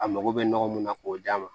A mago bɛ nɔgɔ mun na k'o d'a ma